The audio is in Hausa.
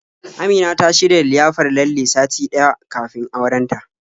Amina ta shirya liyafar lalle sati ɗaya kafin auren ta.